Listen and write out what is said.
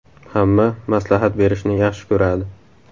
Hamma maslahat berishni yaxshi ko‘radi.